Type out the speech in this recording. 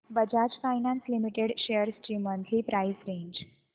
Bajaj finance limited shares ची monthly price range